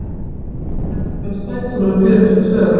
Hektor, hvenær kemur strætó númer fjörutíu og tvö?